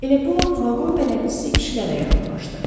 Elə bu vaxt vaqon bələdçisi kişilərə yaxınlaşdı.